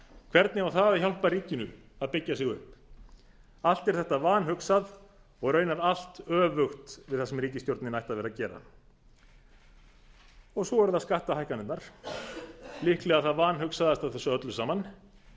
hvernig á það að hjálpa ríkinu að byggja sig upp allt er þetta vanhugsað og í raun öfugt við það sem ríkisstjórnin ætti að vera að gera svo eru það skattahækkanirnar líklega það vanhugsaðasta af þessu öllu saman